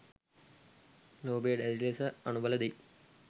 ලෝභය දැඩි ලෙස අනුබල දෙයි.